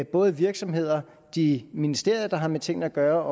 både virksomheder de ministerier der har med tingene at gøre